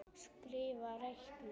Skrifa- reikna